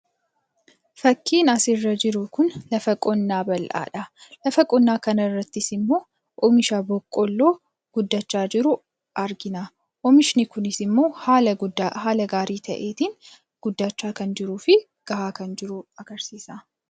Fakiin asirra jiru kun lafa qonnaa bal'aadha. Lafa qonnaa kana irratti immoo oomisha boqqoolloo guddachaa jiru argina. Oomishni Kun immoo haala gaarii fi ga'aa ta'een guddachaa jiraachuu agarsiisa.